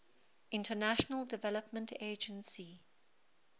international development agency